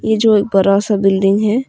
ये जो एक बरा सा बिल्डिंग है।